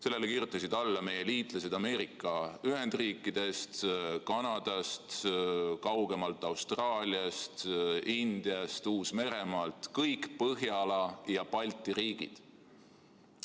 Sellele kirjutasid alla meie liitlased Ameerika Ühendriikidest, Kanadast, kaugemalt Austraaliast, Indiast, Uus-Meremaalt, samuti kõik Põhjala ja Balti riigid.